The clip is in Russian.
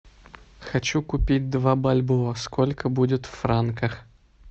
хочу купить два бальбоа сколько будет в франках